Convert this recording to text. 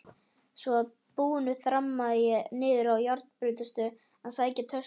Að svo búnu þrammaði ég niðrá járnbrautarstöð að sækja töskurnar.